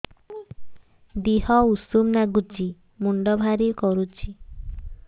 ଦିହ ଉଷୁମ ନାଗୁଚି ମୁଣ୍ଡ ଭାରି କରୁଚି